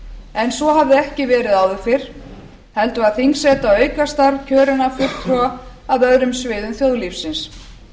en svo hafði ekki verið áður fyrr heldur var þingseta aukastarf kjörinna fulltrúa af öðrum sviðum þjóðlífsins